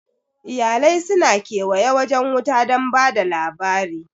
Iyalai su na kewaye wajen wuta don ba da labari